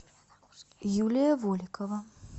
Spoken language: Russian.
юлия воликова